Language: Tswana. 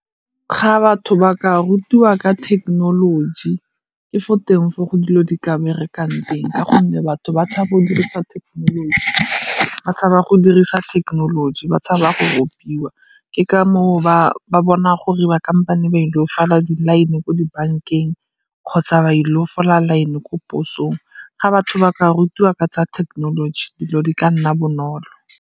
Ga batho ba ka rutiwa ka thekenoloji, ke fo teng foo go dilo di ka berekang teng ka gonne batho ba tshaba go dirisa thekenoloji. Ba tshaba go dirisa thekenoloji, ba tshaba go ropiwa ke ka moo ba bona gore ba kampane ba ile fola di-line ko di bankeng kgotsa ba ile go fola line ko posong. Ga batho ba ka rutiwa ka tsa thekenoloji dilo di ka nna bonolo.